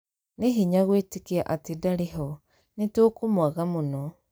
Nĩ hinya gũĩtĩkia atĩ ndarĩ ho, nĩ tũkũmũaga mũno.